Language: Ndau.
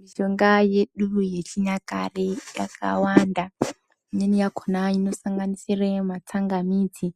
Mishonga yedu yechinyakare yakawanda, imweni yakhona inosanganisire matsangamidzi,